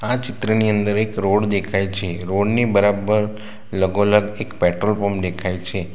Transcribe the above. આ ચિત્રની અંદર એક રોડ દેખાઈ છે રોડ ની બરાબર લગો લગ એક પેટ્રોલ પંપ દેખાઈ છે.